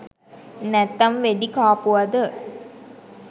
නැත්තං වෙඩි කාපුවද?